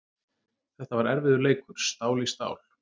Þetta var erfiður leikur, stál í stál.